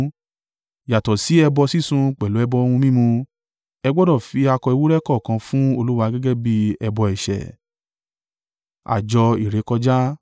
Yàtọ̀ sí ẹbọ sísun pẹ̀lú ẹbọ ohun mímu, ẹ gbọdọ̀ fi akọ ewúrẹ́ kọ̀ọ̀kan fún Olúwa gẹ́gẹ́ bí ẹbọ ẹ̀ṣẹ̀.